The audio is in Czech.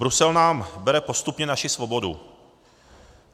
Brusel nám bere postupně naši svobodu.